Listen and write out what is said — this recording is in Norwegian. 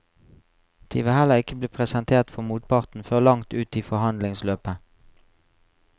De vil heller ikke bli presentert for motparten før langt ute i forhandlingsløpet.